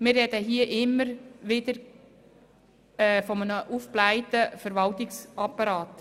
Wir reden hier immer wieder von einem aufgeblähten Verwaltungsapparat.